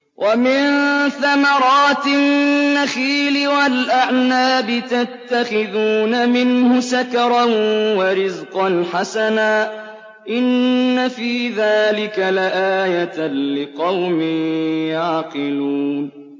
وَمِن ثَمَرَاتِ النَّخِيلِ وَالْأَعْنَابِ تَتَّخِذُونَ مِنْهُ سَكَرًا وَرِزْقًا حَسَنًا ۗ إِنَّ فِي ذَٰلِكَ لَآيَةً لِّقَوْمٍ يَعْقِلُونَ